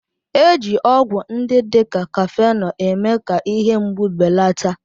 Eji ọgwụ ndị dị ka Kafenọ eme-ka ihe mgbu belata